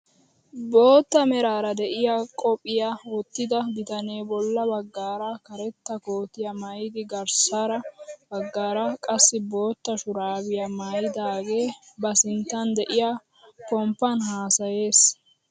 Bootta meraara de'iyaa qophphiyaa wottida bitanee bolla baggaara karetta kootiyaa mayidi garssara baggaara qassi bootta shuraabiyaa maayidagee ba sinttan de'iyaa pomppaan hasayyees!